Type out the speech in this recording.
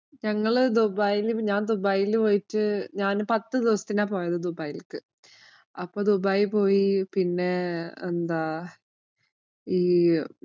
ഞങ്ങള് ദുബായില്, ഞാന്‍ ദുബായില് പോയിട്ട് ഞാന്‍ പത്ത് ദിവസത്തിനാ പോയത് ദുബായിലേക്ക്. അപ്പൊ ദുബായ് പോയി. പിന്നെ എന്താ